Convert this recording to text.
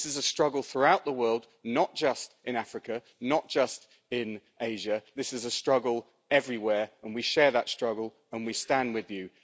This is a struggle throughout the world, not just in Africa, not just in Asia, this is a struggle everywhere and we share that struggle, and we stand with you.